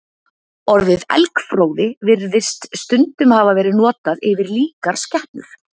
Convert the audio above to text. Orðið elgfróði virðist stundum hafa verið notað yfir líkar skepnur.